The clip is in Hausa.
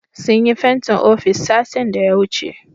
Sun yi fentin ofis satin daya wuce